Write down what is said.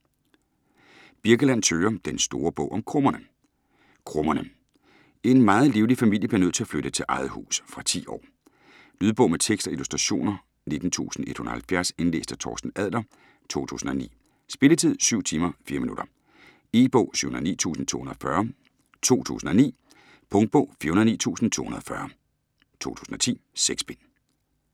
Birkeland, Thøger: Den store bog om Krummerne Krummerne: En meget livlig familie bliver nødt til at flytte til eget hus. Fra 10 år. Lydbog med tekst og illustrationer 19170 Indlæst af Torsten Adler, 2009. Spilletid: 7 timer, 4 minutter. E-bog 709240 2009. Punktbog 409240 2010. 6 bind.